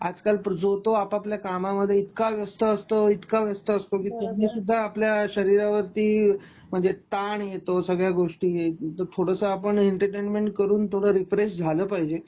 आजकाल जो तो आपआपल्या कामामध्ये इतका व्यस्त असतो इतका व्यस्त असतो म्हणजे त्यानी सुद्धा आपल्या शरीरा वरती म्हणजे ताण येतो ह्या सगळ्या गोष्टी, थोडस आपण एंटरटेनमेंट करून रीफ्रेश झालं पाहिजे.